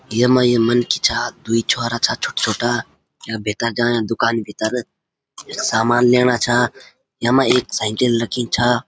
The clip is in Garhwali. येमा ये मनखी छा दुई छोरा छा छोटा छोटा या भीतर जायां दूकानी भीतर सामन लीणा छा यमा एक साइकिल रखीं छा।